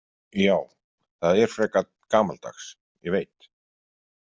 Já, það er frekar gamaldags, ég veit.